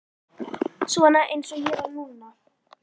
Svona eins og ég var núna.